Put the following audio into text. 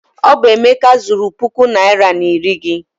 Ọ bụ Emeka zuuru puku naịra na iri gị.